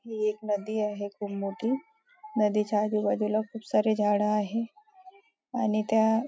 ही एक नदी आहे खूप मोठी नदीच्या आजूबाजूला खूप सारे झाड आहे आणि त्या --